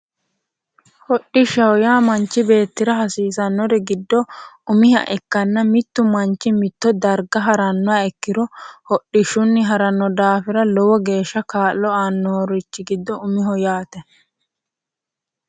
Hodhishaho yaa manchi beettira hasiisannori giddo umiha ikkanna mittu manchi mitto darga harannoha ikkiro hodhishunni haranno daafira lowo geesha kaa'lo aannorichi giddo umiho yaate